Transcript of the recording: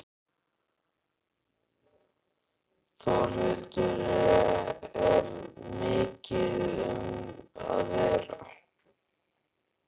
Þórhildur, er mikið um að vera?